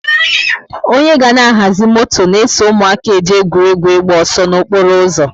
onye ga na ahazi moto na eso ụmụaka eje egwuregwu ịgba ọsọ na okporo ụzọ